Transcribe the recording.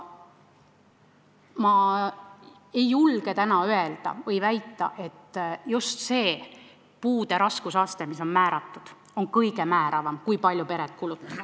Ma ei julge täna väita, et just see määratud puude raskusaste on kõige määravam selles, kui palju pered kulutavad.